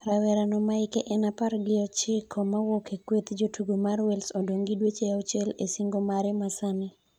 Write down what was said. Rawera no ma ike en apar gi ochiko mawuok a kweth jotugo ma wales odong' gi dweche auchiel e singo mare ma sani